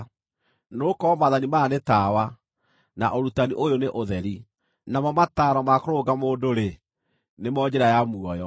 Nĩgũkorwo maathani maya nĩ tawa, na ũrutani ũyũ nĩ ũtheri, namo mataaro ma kũrũnga mũndũ-rĩ, nĩmo njĩra ya muoyo,